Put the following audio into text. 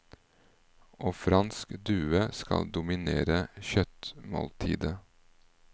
Og fransk due skal dominere kjøttmåltidet.